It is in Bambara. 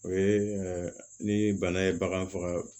O ye ni bana ye bagan faga